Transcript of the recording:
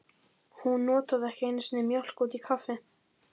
Hún notaði ekki einu sinni mjólk út í kaffi.